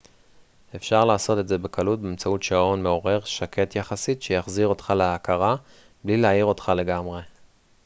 אפשר לעשות את זה בקלות באמצעות שעון מעורר שקט יחסית שיחזיר אותך להכרה בלי להעיר אותך לגמרי